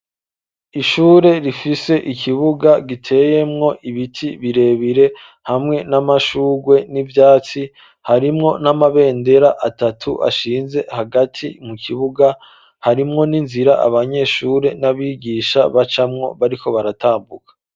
Ishure rifise ikibuga giteyemwo ibiti birebire hamwe n'amashugwe n'ivyatsi harimwo n'amabendera atatu ashinze hagati mu kibuga harimwo n'inzira abanyeshure n'abigisha bacamwo bariko baratambuka.